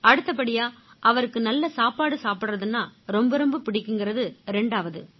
அடுத்தபடியா அவருக்கு நல்ல சாப்பாடு சாப்பிடுறதுன்னா ரொம்ப ரொம்ப பிடிக்கும்ங்கறது ரெண்டாவது